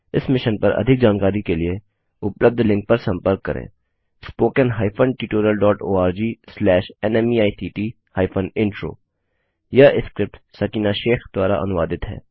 इस मिशन पर अधिक जानकारी के लिए उपलब्ध लिंक पर संपर्क करें httpspoken tutorialorgNMEICT Intro यह स्क्रिप्ट सकीना शेख द्वारा अनुवादित है